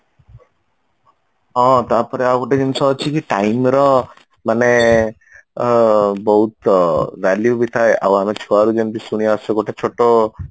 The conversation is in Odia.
ହଁ ତାପରେ ଆଉ ଗୋଟେ ଜିନିଷ ଅଛି କି time ର ମାନେ ଅ ବହୁତ value ବି ଥାଏ ଆଉ ଆମେ ଛୁଆ ବେଳୁ ଯେମିତି ଶୁଣି ଆସୁଛେ ଗୋଟେ ଛୋଟ